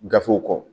Gafew kɔ